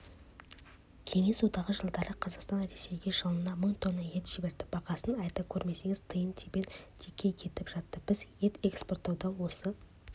кеңес одағы жылдары қазақстан ресейге жылына мың тонна ет жіберді бағасын айта көрмеңіз тиын-тебен текке кетіп жатты біз ет экспорттауда осы